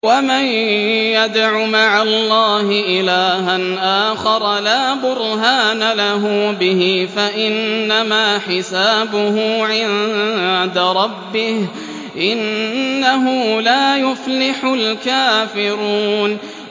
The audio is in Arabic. وَمَن يَدْعُ مَعَ اللَّهِ إِلَٰهًا آخَرَ لَا بُرْهَانَ لَهُ بِهِ فَإِنَّمَا حِسَابُهُ عِندَ رَبِّهِ ۚ إِنَّهُ لَا يُفْلِحُ الْكَافِرُونَ